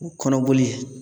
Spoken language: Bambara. Kɔnɔ boli